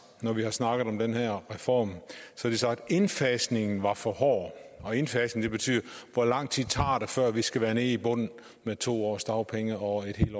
når vi har snakket om den her reform har de sagt indfasningen var for hård og indfasning betyder hvor lang tid det tager før vi skal være nede i bunden med to års dagpenge og en